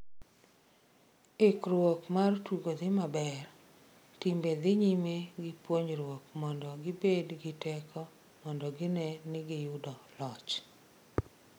"""Ikruok mar tugo dhi maber, timbe dhi nyime gi puonjruok mondo gibed gi teko mondo gine ni giyudo loch."